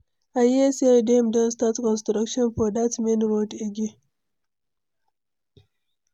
I hear say dem don start construction for dat main road again.